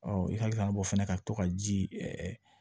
i hakili b'o fɛnɛ ka to ka ji